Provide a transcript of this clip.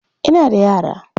Ina da yara.